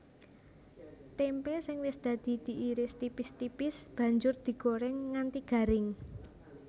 Témpé sing wis dadi diiris tipis tipis banjur digorèng nganti garing